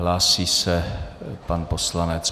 Hlásí se pan poslanec.